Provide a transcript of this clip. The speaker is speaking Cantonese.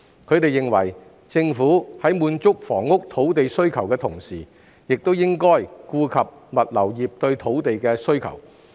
他們認為，政府在滿足房屋土地需求的同時，應顧及物流業對土地的需求。